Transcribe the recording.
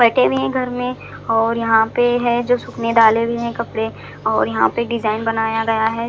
बेठे हुए हैं घर में और यहाँ पे है जो सूखने डाले हुए है कपड़े और यहाँ पर डिजाईन बनाया गया है।